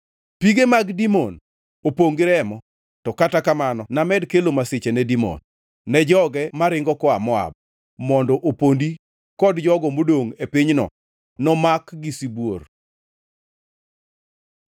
Pige mag Dimon opongʼ gi remo, to kata kamano named kelo masiche ne Dimon, ne joge maringo koa Moab mondo opondi kod jogo modongʼ e pinyno nomak gi sibuor.